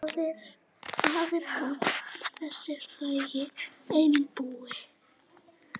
Faðir hans, þessi frægi einbúi.